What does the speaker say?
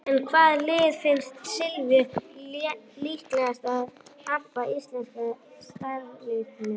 En hvaða lið finnst Silvíu líklegast til að hampa Íslandsmeistaratitlinum?